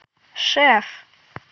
шеф